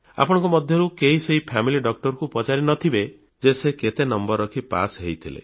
ଆପଣଙ୍କ ମଧ୍ୟରୁ କେହି ସେହି ଫାମିଲି Doctorଙ୍କୁ ପଚାରି ନଥିବେ ଯେ ସେ କେତେ ନମ୍ବର ରଖି ପାସ୍ ହୋଇଥିଲେ